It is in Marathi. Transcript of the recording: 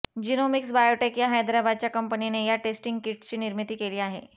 जिनोमिक्स बायोटेक या हैदराबादच्या कंपनीने या टेस्टिंग किट्सची निर्मिती केली आहे